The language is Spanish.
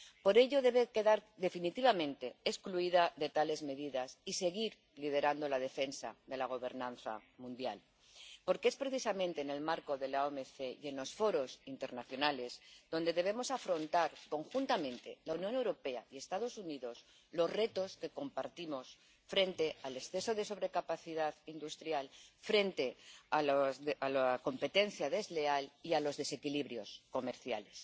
Por ello, debe quedar definitivamente excluida de tales medidas y seguir liderando la defensa de la gobernanza mundial, porque es precisamente en el marco de la OMC y en los foros internacionales donde debemos afrontar conjuntamente —la Unión Europea y los Estados Unidos— los retos que compartimos frente al exceso de sobrecapacidad industrial, frente a la competencia desleal y a los desequilibrios comerciales.